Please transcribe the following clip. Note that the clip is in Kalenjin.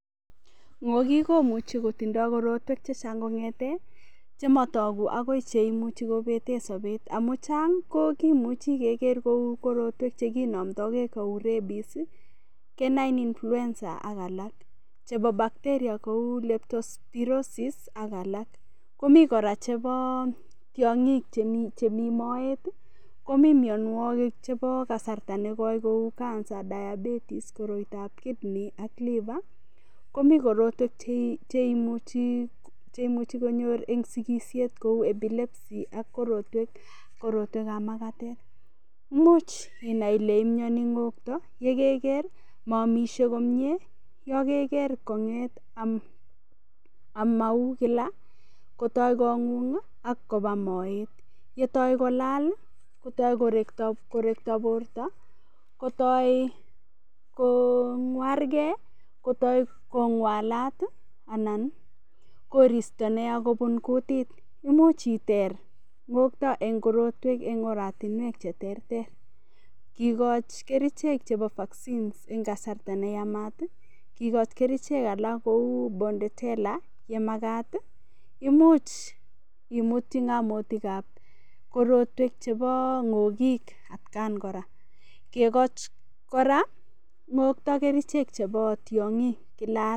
Ng'okik komuchi kotindoi korotwek chechang' kong'ete chematoki akoi cheimuchi kobete sobet amu chang' ko kimuchi keker kou korotwek chekinomtoigei kou rabies canine influencer ak alak chebo bacteria kou leptospirosis ak alak komi kora chebo tiong'ik chemi moet komi mionwokik chebo kasarta negoi kou Cancer diabetes koroitoab [vs]kidney ak liver komi korotwek cheimuchi konyor eng' sikishet kou epilepsy ak korotwekab makatet muuch inai ile imioni ng'okto yekeker maamishie komye yo keker kong'et amau kila kotoi kong'ung' ak koba moet yetoi kolal kotoi korekto borto kotoi kong'wargei kotoi kong'walat anan koristo neya kobun kutit imuch iter ng'okto eng' korotwek eng' aratinwek cheterter kikoch kerichek chebo vaccines eng' kasarta neyamat kikoch kerichek alak kou bortedella yemakat imuch imutchi ng'otutikab korotwek chebo ng'okik at kan kora kekoch kora Ng'okto kerichek chebo tiong'ik Kila arawa